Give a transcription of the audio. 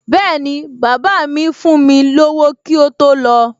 Bẹ́ẹ̀ni, bàbá míì fún mi lówó kí ó tó lọ